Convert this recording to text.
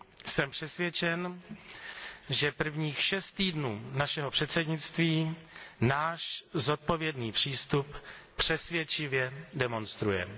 Jsem přesvědčen, že prvních šest týdnů našeho předsednictví náš zodpovědný přístup přesvědčivě demonstruje.